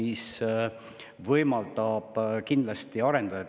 See võimaldab kindlasti seda kõike seal arendada.